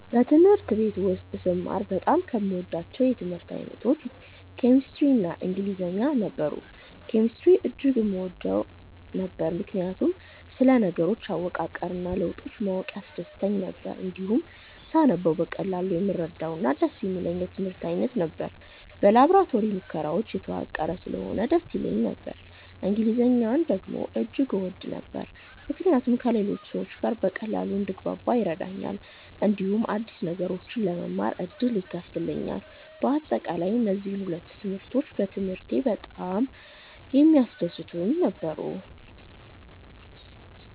በትምህርት ቤት ውስጥ ስማር በጣም ከምወዳቸው የትምህርት አይነቶች ኬሚስትሪ እና ኢንግሊዝኛ ነበሩ። ኬሚስትሪን እጅግ እወድ ነበር፣ ምክንያቱም ስለ ነገሮች አወቃቀር እና ለውጦች ማወቅ ያስደስተኝ ነበር። እንዲሁም ሳነበው በቀላሉ የምረዳውና ደስ የሚለኝ የትምህርት አይነት ነበር። በላቦራቶሪ ሙከራዎች የተዋቀረ ስለሆነ ደስ ይለኝ ነበር። እንግሊዝኛን ደግሞ እጅግ እወድ ነበር፣ ምክንያቱም ከሌሎች ሰዎች ጋር በቀላሉ እንድግባባ ይረዳኛል፣ እንዲሁም አዲስ ነገሮችን ለመማር ዕድል ይከፍትልኛል። በአጠቃላይ፣ እነዚህ ሁለቱ ትምህርቶች በትምህርቴ ውስጥ በጣም የሚያስደስቱኝ ነበሩ።